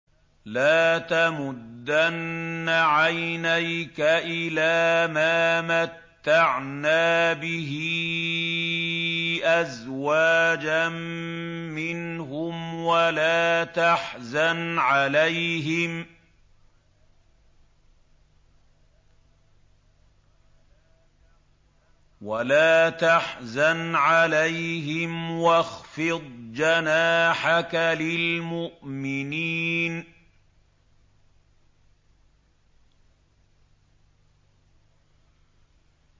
لَا تَمُدَّنَّ عَيْنَيْكَ إِلَىٰ مَا مَتَّعْنَا بِهِ أَزْوَاجًا مِّنْهُمْ وَلَا تَحْزَنْ عَلَيْهِمْ وَاخْفِضْ جَنَاحَكَ لِلْمُؤْمِنِينَ